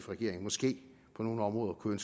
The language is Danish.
regering måske på nogle områder kunne